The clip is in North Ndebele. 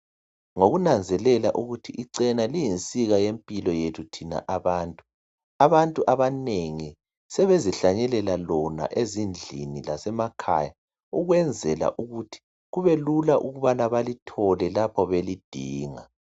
Ngokunanzelela ukuthi ichena liyinsika yempilo kuthina abantu, abantu abanengi sebezihlanyelela lona ezindlini lasemakhaya ukwenzela ukuthi kubelula ukubana balithole lapho belidinga.